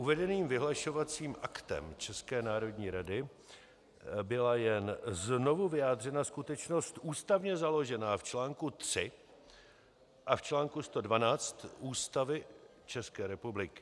Uvedeným vyhlašovacím aktem České národní rady byla jen znovu vyjádřena skutečnost ústavně založená v článku 3 a v článku 112 Ústavy České republiky.